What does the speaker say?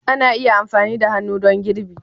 Ana iya amfani da hannu don girbi